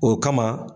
O kama